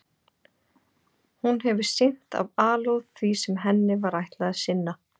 Hún hefur sinnt af alúð því sem henni var ætlað að sinna.